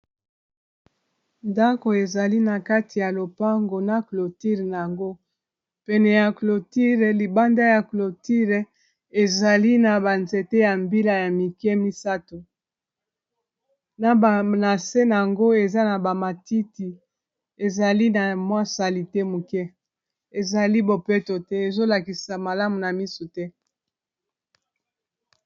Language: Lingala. Ndako ezali na kati ya lopango na cloture na yango pene ya cloture libanda ya cloture ezali na banzete ya mbila ya mike misato na bavnase na yango eza na ba matiti ezali na mwasali te moke ezali bopeto te ezolakisa malamu na misu te